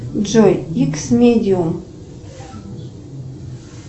джой икс медиум